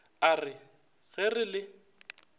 a re ge re le